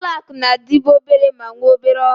Ụlọ akụ na-adịbu obere ma nwee obere ọrụ.